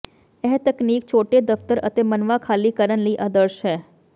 ਇਹ ਤਕਨੀਕ ਛੋਟੇ ਦਫ਼ਤਰ ਅਤੇ ਮਨਵਾ ਖਾਲੀ ਕਰਨ ਲਈ ਆਦਰਸ਼ ਹੈ